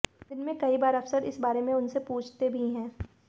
दिन में कई बार अफसर इस बारे में उनसे पूछते भी हैं